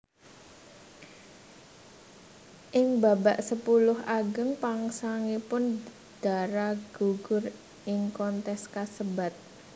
Ing babak sepuluh ageng pungkasanipun Dara gugur ing kontes kasebat